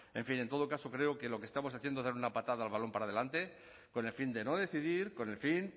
en fin en todo caso creo que lo que estamos haciendo es dar una patada al balón para adelante con el fin de no decidir con el fin